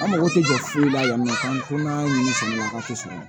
An mago tɛ jɔ foyi la yan nɔ k'an ko n'a ye sɔrɔ ti sɔrɔ